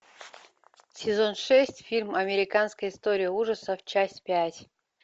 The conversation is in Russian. сезон шесть фильм американская история ужасов часть пять